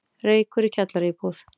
Reykur í kjallaraíbúð